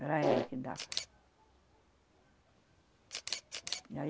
Era ela que dava. E